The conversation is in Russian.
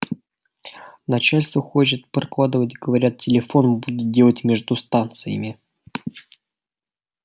начальство хочет прокладывать говорят телефон будет делать между станциями